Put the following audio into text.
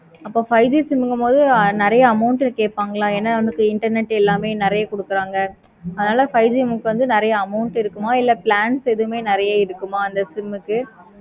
அப்போ five G சொல்லும் பொது நெறைய amount கேட்பார்களா ஏன நமக்கு internet எல்லாமே நெறைய கொடுக்குறாங்க. அதுனால five G நமக்கு நெறைய amount இருக்குமா? இல்லை plans எது நெறைய இருக்குமா? அதே மாதிரி